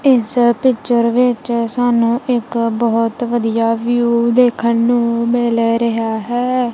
ਇੱਸ ਪਿਕਚਰ ਵਿੱਚ ਸਾਨੂੰ ਇੱਕ ਬੋਹੁਤ ਵਧੀਆ ਵਿਊ ਦੇਖਨ ਨੂੰ ਮਿਲ ਰਿਹਾ ਹੈ।